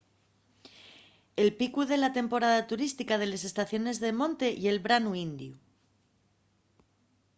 el picu de la temporada turística de les estaciones de monte ye'l branu indiu